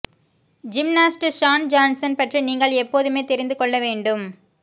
gymnast Shawn Johnson பற்றி நீங்கள் எப்போதுமே தெரிந்து கொள்ள வேண்டும்